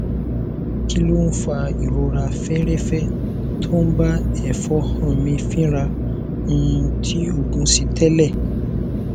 kí ló ń fa ìrora feerefe tó ń bá efonha mi fínra um tí oogun si tele